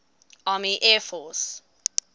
army air force